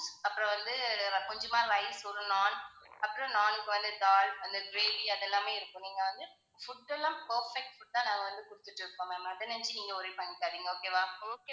அப்பறம் வந்து கொஞ்சமா rice வரும். naan அப்புறம் naan க்கு வந்து daal அந்த gravy அதெல்லாமே இருக்கும் நீங்க வந்து food எல்லாம் perfect food ஆ நாங்க வந்து குடுத்திட்டு இருக்கோம் ma'am அதை நினச்சு நீங்க worry பண்ணிக்காதீங்க okay வா